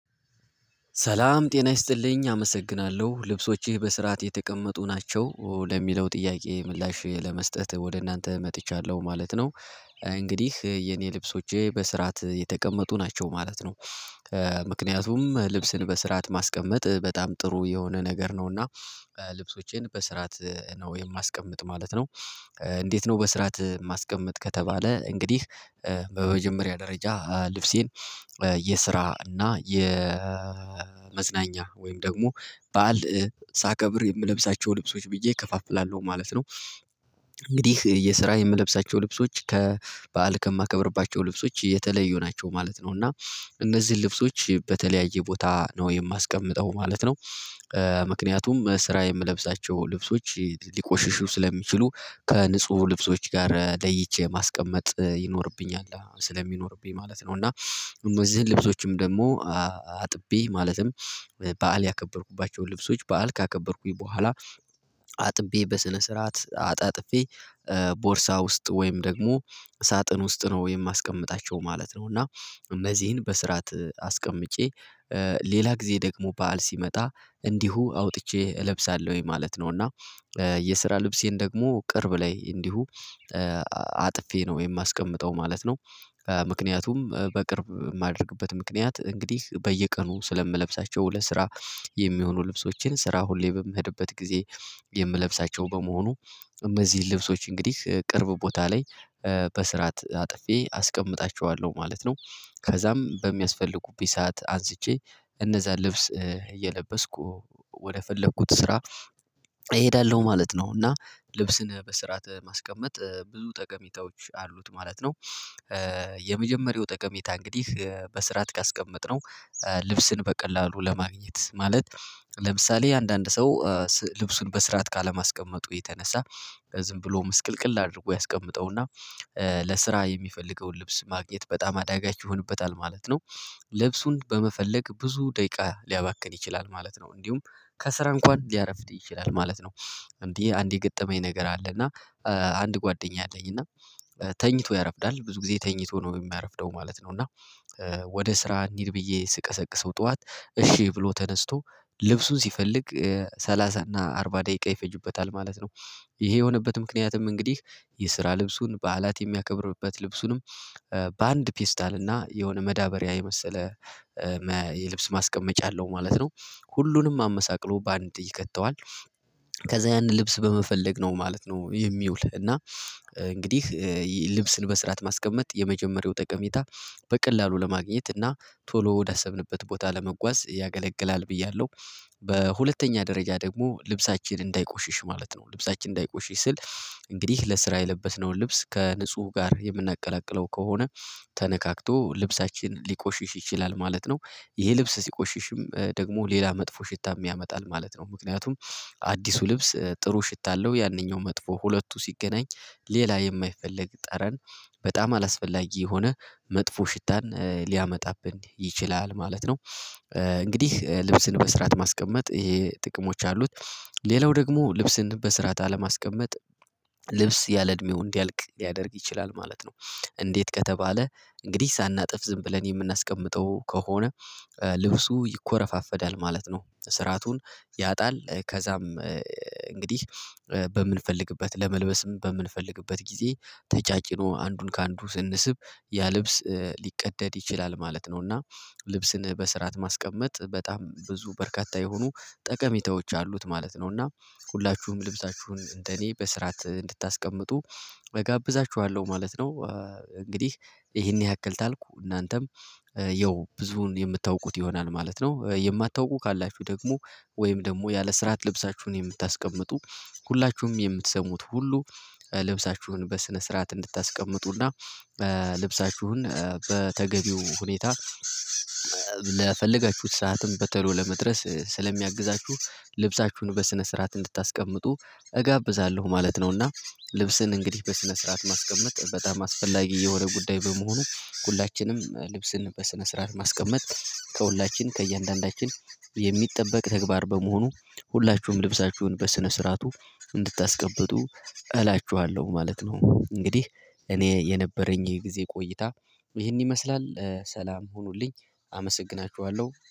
ሰላም ጤና ይስጥልኝ አመሰግናለሁ ልብሶችህ በስርዓት የተቀመጡ ናቸው ለሚለው ጥያቄ ምላሼ ለመስጠት ወደ እናንተ መጥቻለሁ ማለት ነው። እንግዲህ የኔ ልብሶቼ በስርዓት የተቀመጡ ናቸው ማለት ነው። ምክንያቱም ልብስን በስርዓት ማስቀመጥ በጣም ጥሩ የሆነ ነገር ነውና ልብሶቼን በስርዓት ነው የማስቀምጥ ማለት ነው። እንዴት ነው በስርዓት ማስቀምጥ ከተባለ እንግዲህ በመጀመሪያ ደረጃ ልብሴን የስራ እና የመዝናኛ ወይም ደግሞ በዓል ሳከብር የምለብሳቸው ልብሶች ብዬ እከፋፍላለሁ ማለት ነው። እንግዲህ የስራ የምለብሳቸው ልብሶች ከበዓል ከማከብርባቸው ልብሶች የተለዩ ናቸው ማለት ነው። እና እነዚህን ልብሶች በተለያየ ቦታ ነው የማስቀምጠው ማለት ነው። ምክንያቱም ስራ የምለብሳቸው ልብሶች ሊቆሽሹ ስለሚችሉ ከንጹሁ ልብሶች ጋር ለይቼ ማስቀመጥ ይኖርብኛል ስለሚኖርብኝ ማለት ነው። እና እነዚህን ልብሶችም ደግሞ አጥቢ ማለትም በዓል ያከበርኩባቸው ልብሶች በዓል ካከበርኩኝ በኋላ አጥቤ በስነ ስርዓት አጣጥፌ ቦርሳ ውስጥ ወይም ደግሞ ሳጥን ውስጥ ነው የማስቀምጣቸው ማለት ነው። እና እነዚህን በስራት አስቀምጬ ሌላ ጊዜ ደግሞ በዓል ሲመጣ እንዲሁ አውጥቼ እለብሳለሁኝ ማለት ነው። እና የስራ ልብሴን ደግሞ ቅርብ ላይ እንዲሁ አጥፌ ነው የማስቀምጠው ማለት ነው። ምክንያቱም በቅርብ የማደርግበት ምክንያት እንግዲህ በየቀኑ ስለምለብሳቸው ለስራ የሚሆኑ ልብሶችን ስራ ሁሌ በምህድበት ጊዜ የምለብሳቸው በመሆኑ እነዚህ ልብሶች እንግዲህ ቅርብ ቦታ ላይ በስርዓት አጥፌ አስቀምጣቸዋለሁ ማለት ነው። ከዛም በሚያስፈልጉበት ሰዓት አንስቼ እነዛ ልብስ እየለበስኩ ወደፈለኩት ስራ እሄዳለሁ ማለት ነው። እና ልብስን በስርዓት ማስቀመጥ ብዙ ጠቀሚታዎች አሉት ማለት ነው። የመጀመሪያው ጠቀሜታ እንግዲህ በስርዓት ካስቀመጥነው ልብስን በቀላሉ ለማግኘት ማለት ለምሳሌ አንዳንድ ሰው ልብሱን በስርዓት ካለማስቀመጡ የተነሳ ዝም ብሎ ምስቅልቅል አድርጎ ያስቀምጠውና ለስራ የሚፈልገውን ልብስ ማግኘት በጣም አዳጋች ይሆንበታል ማለት ነው። ልብሱን በመፈለግ ብዙ ደቂቃ ሊያባክን ይችላል ማለት ነው እንዲሁም ከስራ እንኳን ሊያረፍድ ይችላል ማለት ነው። እንዲህ አንዴ የገጠመኝ ነገር አለ እና አንድ ጓደኛ አለኝ እና ተኝቶ ያረፍዳል ብዙ ጊዜ ተኝቶ ነው የሚያረፍደው ማለት ነው። እና ወደ ስራ እንሂድ ብዬ ስቀሰቅሰው ጠዋት እሺ ብሎ ተነስቶ ልብሱን ሲፈልግ ሰላሳ እና አርባ ደቂቃ ይፈጅበታል ማለት ነው። ይሄ የሆነበት ምክንያትም እንግዲህ የስራ ልብሱን በዓላት የሚያከብርበት ልብሱንም በአንድ ፒስታል እና የሆነ መዳበሪያ የመሰለ የልብስ ማስቀመጫ አለው ማለት ነው ሁሉንም አመሳቅሎ በአንድ ይከተዋል ከዛ ያንን ልብስ በመፈለግ ነው ማለት ነው። የሚውል እና እንግዲህ ልብስን በስራት ማስቀመጥ የመጀመሪያው ጠቀሜታ በቀላሉ ለማግኘት እና ቶሎ ወዳሰብንበት ቦታ ለመጓዝ ያገለግላል ብያለሁ። በሁለተኛ ደረጃ ደግሞ ልብሳችን እንዳይቆሽሽ ማለት ነው ልብሳችን እንዳይቆሽሽ ስል እንግዲህ ለስራ የለበስነውን ልብስ ከንጹህ ጋር የምናቀላቅለው ከሆነ ተነካክቶ ልብሳችን ሊቆሽሽ ይችላል ማለት ነው። ይሄ ልብስ ሲቆሽሽም ደግሞ ሌላ መጥፎ ሽታ ያመጣል ማለት ነው ምክንያቱም አዲሱ ልብስ ጥሩ ሽታ አለው ያንኛው መጥፎ ሁለቱ ሲገናኝ ሌላ የማይፈለግ ጠረን በጣም አላስፈላጊ የሆነ መጥፎ ሽታን ሊያመጣብን ይችላል ማለት ነው። እንግዲህ ልብስን በስራት ማስቀመጥ ይሄ ጥቅሞች አሉት ሌላው ደግሞ ልብስን በስራት አለማስቀመጥ ልብስ ያለ እድሜው እንዲያልቅ ሊያደርግ ይችላል ማለት ነው። እንዴት ከተባለ እንግዲህ ሳናጥፍ ዝም ብለን የምናስቀምጠው ከሆነ ልብሱ ይኮረፋፈዳል ማለት ነው ስራቱን ያጣል ከዛም እንግዲህ በምንፈልግበት ለመልበስም በምንፈልግበት ጊዜ ተጫጭኖ አንዱን ከአንዱ ስንስብ ያ ልብስ ሊቀደድ ይችላል ማለት ነው። እና ልብስን በስርዓት ማስቀመጥ በጣም ብዙ በርካታ የሆኑ ጠቀሚታዎች አሉት ማለት ነው። እና ሁላችሁም ልብሳችሁን እንደኔ በስራት እንድታስቀምጡ እጋብዛችኋለሁ ማለት ነው። እንግዲህ ይሄን ያክል ታልኩ እናንተም ያው ብዙውን የምታውቁት ይሆናል ማለት ነው። የማታውቁ ካላችሁ ደግሞ ወይም ደግሞ ያለ ስራት ልብሳችሁን የምታስቀምጡ ሁላችሁም የምትሰሙት ሁሉ ልብሳችሁን በስነ ስርዓት እንድታስቀምጡና ልብሳችሁን በተገቢው ሁኔታ ለፈለጋችሁት ሰዓትም በተሎ ለመድረስ ስለሚያግዛችሁ ልብሳችሁን በስነ ስርዓት እንድታስቀምጡ እጋብዛለሁ ማለት ነውና። ልብስን እንግዲህ በስነ ስርዓት ማስቀመጥ በጣም አስፈላጊ የሆነ ጉዳይ በመሆኑ ሁላችንም ልብስን በስነ ስርዓት ማስቀመጥ ከሁላችን ከእያንዳንዳችን የሚጠበቅ ተግባር በመሆኑ ሁላችሁም ልብሳችሁን በስነ ስርዓቱ እንድታስቀምጡ እላችኋለሁ ማለት ነው። እንግዲህ እኔ የነበረኝ ይሄ ጊዜ ቆይታ ይሄን ይመስላል ሰላም ሁኑልኝ አመሰግናችኋለሁ